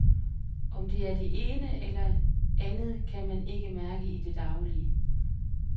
Om det er det ene eller andet kan man ikke mærke i det daglige.